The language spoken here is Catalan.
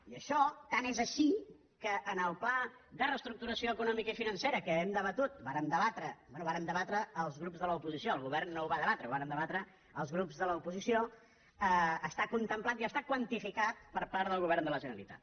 i això tant és així que en el pla de reestructuració econòmica i financera que hem debatut vàrem debatre bé vàrem debatre els grups de l’oposició el govern no el va debatre el vàrem deba tre els grups de l’oposició està contemplat i està quantificat per part del govern de la generalitat